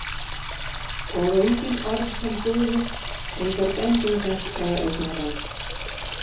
Og engin orð sem dugðu, engar bendingar eða augnaráð.